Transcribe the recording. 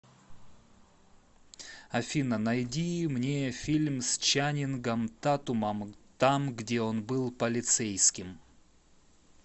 афина найди мне фильм с чанингом татумом там где он был полицейским